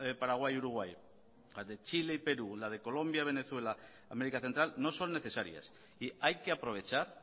paraguay y uruguay las de chile y perú o las de colombia venezuela américa central no son necesarias y hay que aprovechar